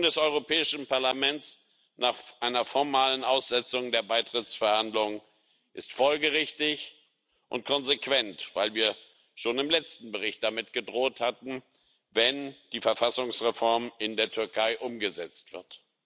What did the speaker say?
Die Forderung des Europäischen Parlaments nach einer formalen Aussetzung der Beitrittsverhandlungen ist folgerichtig und konsequent, weil wir schon im letzten Bericht damit gedroht hatten, wenn die Verfassungsreform in der Türkei umgesetzt wird.